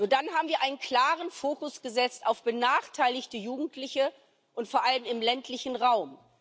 Dann haben wir einen klaren Fokus gesetzt auf benachteiligte Jugendliche und vor allem auf den ländlichen Raum.